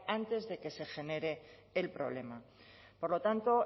antes de que se genere el problema por lo tanto